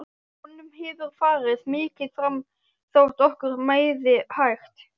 Honum hefur farið mikið fram þótt okkur miði hægt.